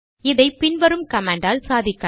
இதை பின் வரும் கமாண்ட் ஆல் சாதிக்கலாம்